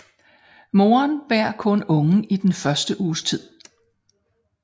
Moren bærer kun ungen i den første uges tid